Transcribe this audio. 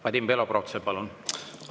Vadim Belobrovtsev, palun!